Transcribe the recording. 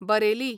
Bareilly